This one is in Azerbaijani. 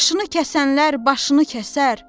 Yaşını kəsənlər başını kəsər.